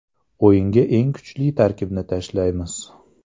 O‘yinga eng kuchli tarkibni tashlaymiz”.